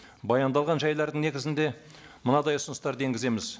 баяндалған жайлардың негізінде мынадай ұсыныстарды енгіземіз